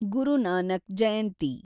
ಗುರು Nanak ಜಯಂತಿ